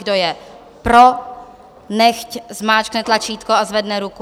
Kdo je pro, nechť zmáčkne tlačítko a zvedne ruku.